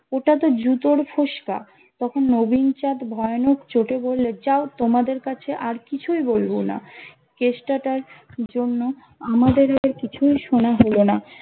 ওটাতো জুতোর ফোসকা তখন নবীন চাঁদ ভয়ানক চোটে বল্লেন যাও তোমাদের কাছে আর কিছুই বলবো না কেষ্টাটার জন্য আমাদেরও কিছুই শোনা হলো না